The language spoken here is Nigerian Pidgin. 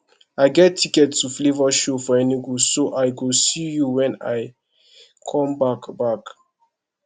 i get ticket to flavour show for enugu so i go see you wen i come back back